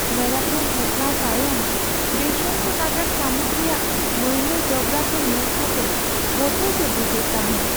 ᱢᱮᱨᱟᱛᱷᱚᱱ ᱦᱮᱯᱣᱟᱨ ᱛᱟᱭᱚᱢ ᱵᱮᱥᱚᱱᱛ ᱱᱟᱜᱟᱨ ᱥᱟᱹᱢᱩᱫ ᱨᱮᱭᱟᱜ ᱢᱟᱹᱭᱞᱟᱹ ᱡᱚᱵᱽᱨᱟ ᱠᱚ ᱧᱮᱞ ᱠᱟᱛᱮ ᱵᱚᱛᱚᱨ ᱜᱮ ᱵᱩᱡᱷᱟᱹᱜ ᱛᱟᱦᱮᱸ ᱾